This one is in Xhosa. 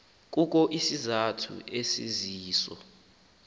kukho isizathu esisiso